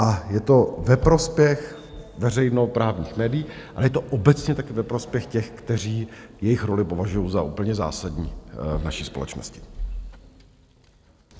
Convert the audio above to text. A je to ve prospěch veřejnoprávních médií a je to obecně taky ve prospěch těch, kteří jejich roli považují za úplně zásadní v naší společnosti.